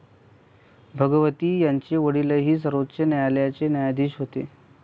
भगवती यांचे वडीलही सर्वोच्च न्यायालयाचे न्यायाधीश होते.